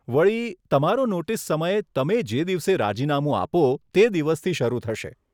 વળી, તમારો નોટીસ સમય તમે જે દિવસે રાજીનામું આપો તે દિવસથી શરુ થશે.